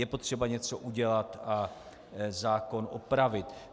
Je potřeba něco udělat a zákon opravit.